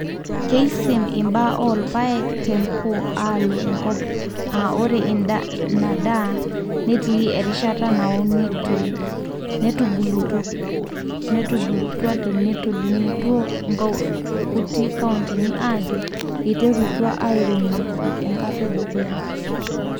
Keisin imbaa oo irpaek tepo aalo e nkop, aa ore ina daa netii erishata naunitoi , netubulutuanetolimutuo nkuti kauntini ajo eiterutua airemoki enkata e dukuya.